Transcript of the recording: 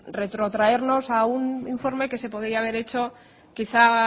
retrotraernos a un informe que se podría haber hecho quizá